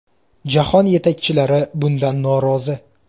Jahon yetakchilari bundan norozi.